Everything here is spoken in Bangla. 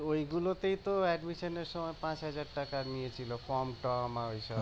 ওই গুলোতেই তো এর সময় পাঁচ হাজার টাকা নিয়েছিল ফর্ম টর্ম আর ওইসব